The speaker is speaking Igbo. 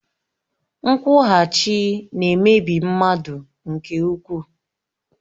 Nkwughachi na-emebi mmadụ nke ukwuu